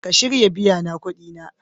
Ka shirya biya na kudi na?